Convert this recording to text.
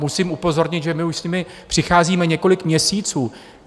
Musím upozornit, že my už s nimi přicházíme několik měsíců.